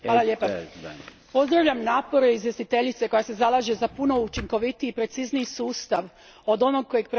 Pozdravljam napore izvjestiteljice koja se zalaže za puno učinkovitiji i precizniji sustav od onog kojeg predlaže Komisija.